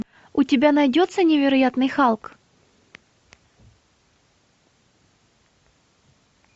у тебя найдется невероятный халк